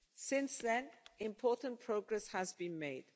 Since then, important progress has been made.